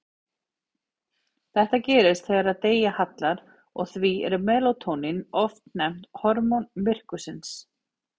Þetta gerist þegar degi hallar og því er melatónín oft nefnt hormón myrkursins.